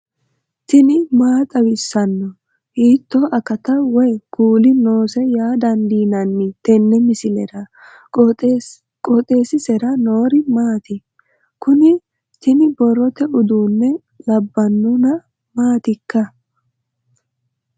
tini maa xawissanno ? hiitto akati woy kuuli noose yaa dandiinanni tenne misilera? qooxeessisera noori maati? kuni tini borrote uduunne labbannona maatikka